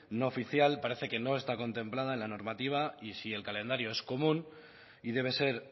no oficial parece que no está contemplada en la normativa y si el calendario es común y debe ser